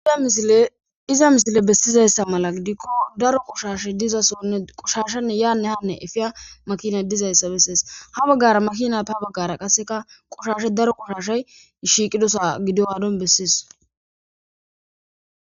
Iza misile bessizayssa mala gidikko daro qoshashe dizasonne qoshashanne yaane hanne efiya makinay dizayssa bessees ha baggara makina pa baggara qasseka qoshashe daro qoshashay shiiqidosa gidogaadon bessees